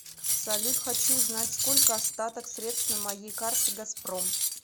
салют хочу узнать сколько остаток средств на моей карте газпром